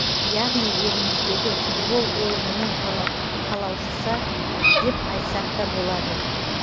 яғни еліміздегі футбол ойынының қалаушыса деп айтсақта болады